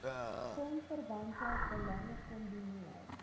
filmverwante belange kombineer